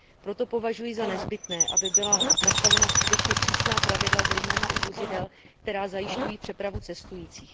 Proto považuji za nezbytné, aby byla nastavena skutečně přísná pravidla zejména u vozidel, která zajišťují přepravu cestujících.